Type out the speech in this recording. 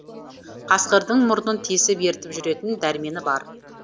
қасқырдың мұрнын тесіп ертіп жүретін дәрмені бар